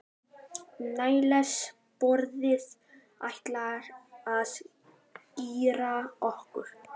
Níels bróðir ætlar að keyra okkur.